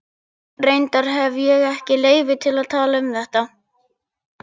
Reyndar hefi ég ekki leyfi til að tala um þetta.